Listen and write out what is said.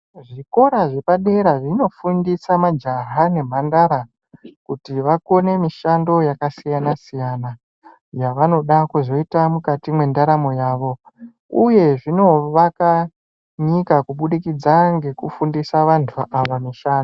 Zvikora zvepadera zvinofundisa majaha nemhandara kuti vakone mishando yakasiyana-siyana yavanoda kuzoita mukati mwendaramo yavo, uye zvinovaka nyika kubudikidza ngekufundisa vantu ava mishando.